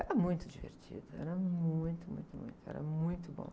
Era muito divertido, era muito, muito, muito, era muito bom.